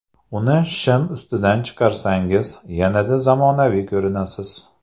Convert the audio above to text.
Uni shim ustidan chiqarsangiz, yanada zamonaviy ko‘rinasiz.